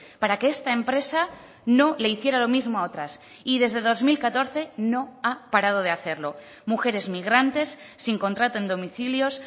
para que esta empresa no le hiciera lo mismo a otras y desde dos mil catorce no ha parado de hacerlo mujeres migrantes sin contrato en domicilios